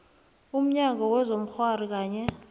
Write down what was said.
umnyango wezobukghwari kanye